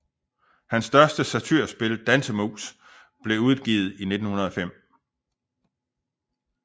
Hans største satyrspil Dansemus blev udgivet i 1905